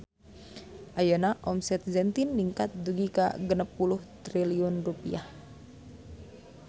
Ayeuna omset Zentin ningkat dugi ka 60 triliun rupiah